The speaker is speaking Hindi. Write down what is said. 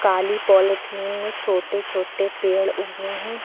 काली पॉलिथीन में छोटे छोटे पेड़ उगे हैं।